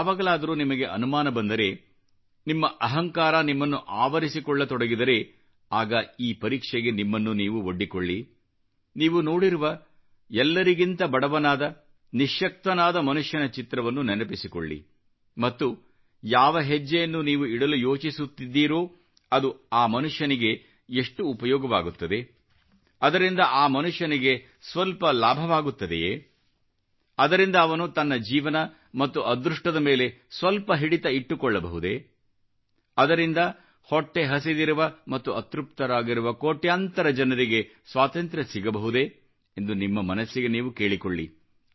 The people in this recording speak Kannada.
ಯಾವಾಗಲಾದರೂ ನಿಮಗೆ ಅನುಮಾನ ಬಂದರೆ ನಿಮ್ಮ ಅಹಂಕಾರ ನಿಮ್ಮನ್ನು ಆವರಿಸಿಕೊಳ್ಳತೊಡಗಿದರೆ ಆಗ ಈ ಪರೀಕ್ಷೆಗೆ ನಿಮ್ಮನ್ನು ನೀವು ಒಡ್ಡಿಕೊಳ್ಳಿ ನೀವು ನೋಡಿರುವ ಎಲ್ಲರಿಗಿಂತ ಬಡವನಾದ ನಿಶ್ಶಕ್ತನಾದ ಮನುಷ್ಯನ ಚಿತ್ರವನ್ನು ನೆನಪಿಸಿಕೊಳ್ಳಿ ಮತ್ತು ಯಾವ ಹೆಜ್ಜೆಯನ್ನು ನೀವು ಇಡಲು ಯೋಚಿಸುತ್ತಿದ್ದೀರೋ ಅದು ಆ ಮನುಷ್ಯನಿಗೆ ಎಷ್ಟು ಉಪಯೋಗವಾಗುತ್ತದೆ ಅದರಿಂದ ಆ ಮನುಷ್ಯನಿಗೆ ಸ್ವಲ್ಪ ಲಾಭವಾಗುತ್ತದೆಯೇ ಅದರಿಂದ ಅವನು ತನ್ನ ಜೀವನ ಮತ್ತು ಅದೃಷ್ಟದ ಮೇಲೆ ಸ್ವಲ್ಪ ಹಿಡಿತ ಇಟ್ಟುಕೊಳ್ಳಬಹುದೇ ಅದರಿಂದ ಹೊಟ್ಟೆ ಹಸಿದಿರುವ ಮತ್ತು ಅತೃಪ್ತರಾಗಿರುವ ಕೋಟ್ಯಾಂತರ ಜನರಿಗೆ ಸ್ವಾತಂತ್ರ ಸಿಗಬಹುದೇ ಎಂದು ನಿಮ್ಮ ಮನಸ್ಸಿಗೆ ನೀವು ಕೇಳಿಕೊಳ್ಳಿ